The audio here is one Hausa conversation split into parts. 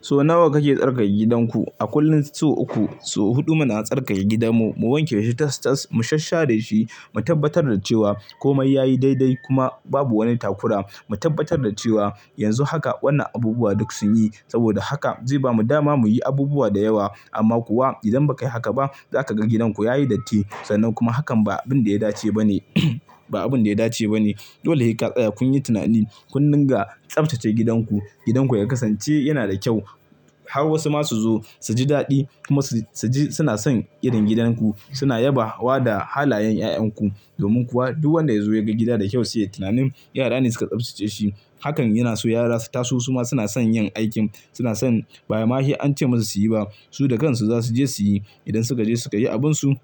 So nawa kake tsarkake gidanku? A kullum sau uku, sau huɗu muna tsarkake gidanmu, mu wanke shi tas-tas, mu sasshereshi, mu tabbatar da cewa komai yayi daidai kuma babu wani takura. Mu tabbatar da cewa yanzu haka wannan abubuwa duk sun yi. Saboda haka zai bamu dama mu yi abubuwa da yawa. Amma kuwa idan ba ka yi haka ba, za ka ga gidanku ya yi datti. Sannan kuma hakan ba abin da ya dace ba ne, ba abin da ya dace ba ne. Dole sai ka tsaya, kun yi tunani, kun ninga tsaftace gidanku. Gidanku ya kasance yana da kyau har wasu masu zo su ji daɗi kuma su, su ji suna son irin gidan ku. Suna yaba wa da halayen 'ya'yan ku. Domin kuwa duk wanda ya zo ya ga gida da kyau sai ya yi tunanin yara ne suka tsaftace shi. Hakan yana so yara su taso kuma suna son yin aikin. Suna son ba ma shi an ce musu su yi ba, su da kansu za su je su yi. Idan suka je su ka yi abinsu,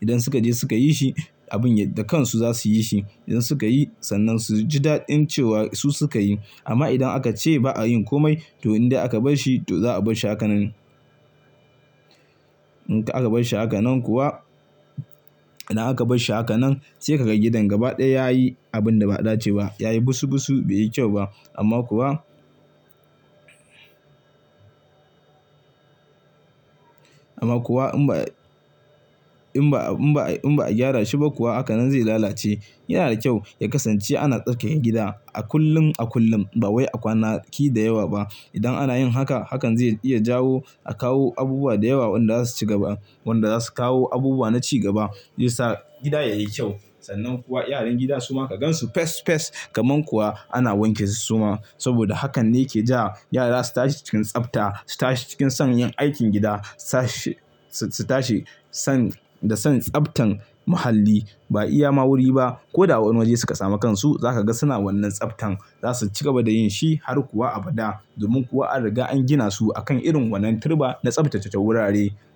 idan suka je suka yi shi abun da kansu za su yi shi. Idan suka yi, sannan su ji daɗin cewa su suka yi. Amma idan aka ce ba a yin komai, to in dai aka bar shi, to za a bar shi haka nan. In ka aka bar shi haka nan kuwa, idan aka bar shi haka nan sai ka ga gidan gaba ɗaya ya yi abin da ba a dace ba. Ya yi busu busu, bai yi kyau ba. Amma kuwa, amma kuwa in ba, in ba, in ba, in ba a gyara shi ba kuwa, hakan zai lalace. Yana da kyau ya kasance ana tsarkake gida a kullum a kullum, ba wai a kwanaki da yawa ba. Idan ana yin haka, hakan zai iya jawo a kawo abubuwa da yawa wanda za su ci gaba, wanda za su kawo abubuwa na cigaba, ya sa gida yayi kyau. Sannan kuwa yaran gida su ma ka gan su fes fes. Kaman kuwa ana wanke su suma. Saboda hakan ne yake ja yara su tashi cikin tsafta, su tashi cikin son yin aikin gida, sashi, su tashi son da son tsaftan muhalli. Ba iya ma wuri ba. Ko da a wane waje suka samu kansu, za ka ga suna wannan tsaftan. Za su cigaba da yin shi har kuwa abada. Domin kuwa an riga an gina su a kan irin wannan turba na tsaftace wurare.